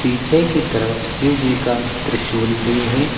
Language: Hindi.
पीछे की तरफ शिवजी का त्रिशूल भी है।